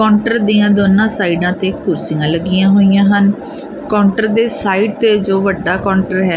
Counter ਦੀਆਂ ਦੋਨਾਂ ਸਾਈਡਾਂ ਤੇ ਕੁਰਸੀਆਂ ਲੱਗੀਆਂ ਹੋਈਆਂ ਹਨ ਕਾਉਂਟਰ ਦੇ ਸਾਈਡ ਤੇ ਜੋ ਵੱਡਾ ਕਾਉਂਟਰ ਹੈ।